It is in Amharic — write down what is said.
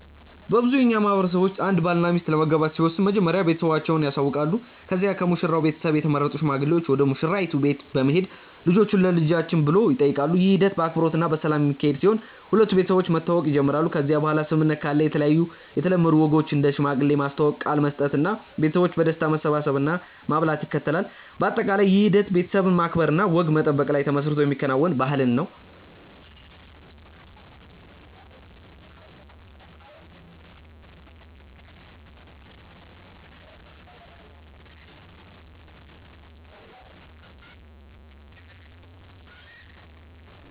በብዙ የእኛ ማህበረሰቦች ውስጥ አንድ ባልና ሚስት ለመጋባት ሲወስኑ መጀመሪያ ቤተሰቦቻቸውን ያሳውቃሉ ከዚያ ከሙሽራው ቤተሰብ የተመረጡ ሽማግሌዎች ወደ ሙሽራይቱ ቤት በመሄድ ልጆቹን ለልጆችን ብሎ ይጠይቃሉ። ይህ ሂደት በአክብሮት እና በሰላም የሚካሄድ ሲሆን ሁለቱ ቤተሰቦች መተዋወቅ ይጀምራሉ ከዚያ በኋላ ስምምነት ካለ የተለያዩ የተለምዶ ወጎች እንደ ሽማግሌ ማስተዋወቅ፣ ቃል መስጠት እና ቤተሰቦች በደስታ መሰብሰብ እና ማብላት ይከተላል። በአጠቃላይ ይህ ሂደት ቤተሰብን ማክበር እና ወግ መጠበቅ ላይ ተመስርቶ የሚከናወን ባህልን ነው።